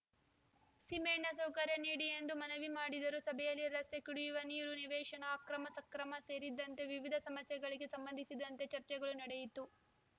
ಸೀಮೆಎಣ್ಣೆ ಸೌಕರ್ಯ ನೀಡಿ ಎಂದು ಮನವಿ ಮಾಡಿದರು ಸಭೆಯಲ್ಲಿ ರಸ್ತೆ ಕುಡಿಯುವ ನೀರು ನಿವೇಶನ ಅಕ್ರಮ ಸಕ್ರಮ ಸೇರಿದಂತೆ ವಿವಿಧ ಸಮಸ್ಯೆಗಳಿಗೆ ಸಂಬಂಧಿಸಿದಂತೆ ಚರ್ಚೆಗಳು ನಡೆಯಿತು